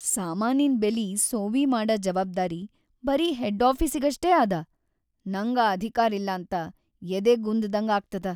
ಸಾಮಾನಿನ್ ಬೆಲಿ ಸೋವಿ ಮಾಡ ಜವಾಬ್ದಾರಿ ಬರೀ ಹೆಡ್‌ ಆಫೀಸಿಗಷ್ಟೇ ಅದ, ನಂಗ್‌ ಆ ಅಧಿಕಾರಿಲ್ಲಂತ ಎದೆಗುಂದ್‌ದಂಗ್ ಆಗ್ತದ.